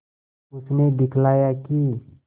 उसने दिखलाया कि